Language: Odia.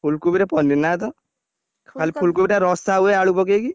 ଫୁଲକୋବିରେ paneer ନା ତ।, ଖାଲି ଫୁଲକୋବି ଟା ରସା ହୁଏ ଆଳୁ ପକେଇକି।